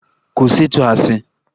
Kwụsị ịtụ asị!